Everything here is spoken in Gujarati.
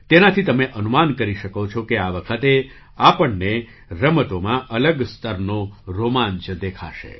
તેનાથી તમે અનુમાન કરી શકો છો કે આ વખતે આપણને રમતોમાં અલગ સ્તરનો રોમાંચ દેખાશે